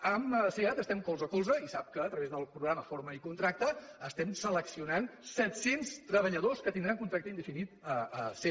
amb seat estem colze a colze i sap que a través del programa forma i contracta estem seleccionant set cents treballadors que tindran contracte indefinit a seat